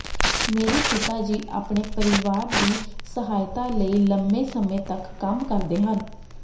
ਮੇਰੇ ਪਿਤਾ ਜੀ ਆਪਣੇ ਪਰਿਵਾਰ ਦੀ ਸਹਾਇਤਾ ਲਈ ਲੰਮੇ ਸਮੇਂ ਤੱਕ ਕੰਮ ਕਰਦੇ ਹਨ